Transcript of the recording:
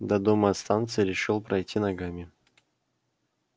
до дома от станции решил пройти ногами